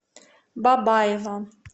бабаево